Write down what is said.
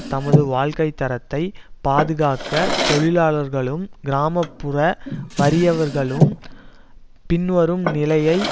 தமது வாழ்க்கை தரத்தை பாதுகாக்க தொழிலாளர்களும் கிராம புற வறியவர்களும் பின்வரும் நிலையை